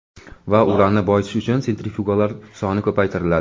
Va uranni boyitish uchun sentrifuglar soni ko‘paytiriladi.